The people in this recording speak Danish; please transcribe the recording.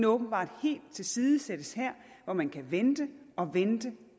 åbenbart helt tilsidesættes her hvor man kan vente og vente